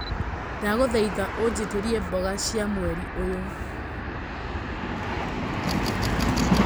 ndagũthaĩtha ũnjĩtĩrĩe mboga cĩa mwerĩ ũyũ